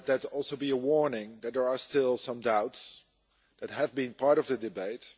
Let that also be a warning that there are still some doubts that have been part of the debate.